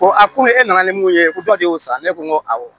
Ko a ko ne e nana ni mun ye ko dɔ de y'o sara ne ko n ko awɔ